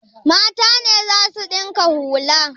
Mata ne za su ɗinka hula?